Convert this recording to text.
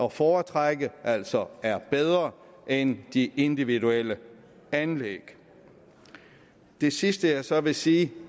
at foretrække altså er bedre end de individuelle anlæg det sidste jeg så vil sige